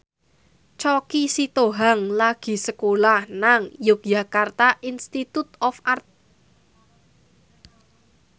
Choky Sitohang lagi sekolah nang Yogyakarta Institute of Art